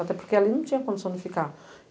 Até porque ali não tinha condição de ficar.